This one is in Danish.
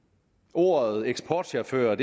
ordet eksportchauffør